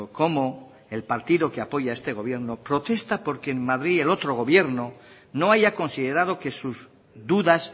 cómo el partido que apoya a este gobierno protesta porque en madrid el otro gobierno no haya considerado que sus dudas